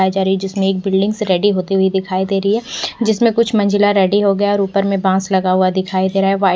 जिसमें एक building ready होती हुई दिखाई दे रही है जिसमें कुछ मंजिला रेडी हो गया और ऊपर में बांस लगा हुआ दिखाई दे रहा है --